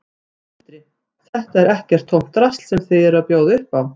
Sindri: Þetta er ekkert tómt drasl sem þið eruð að bjóða upp á?